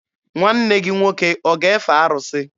Nwanne gị nwoke ọ ga-efe arụsị?